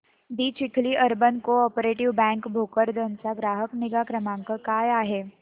दि Chikhli urban co operative bank Bhokardan चा ग्राहक निगा क्रमांक काय आहे